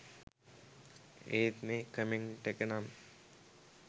ඒත් මේ කමෙන්ට් එක නම්